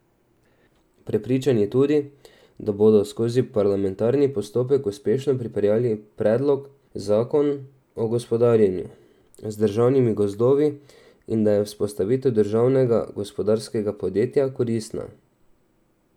Prepričan je tudi, da bodo skozi parlamentarni postopek uspešno pripeljali predlog zakon o gospodarjenju z državnimi gozdovi in da je vzpostavitev državnega gozdarskega podjetja koristna.